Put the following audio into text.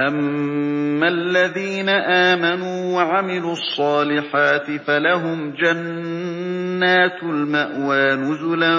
أَمَّا الَّذِينَ آمَنُوا وَعَمِلُوا الصَّالِحَاتِ فَلَهُمْ جَنَّاتُ الْمَأْوَىٰ نُزُلًا